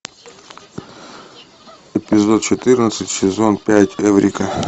эпизод четырнадцать сезон пять эврика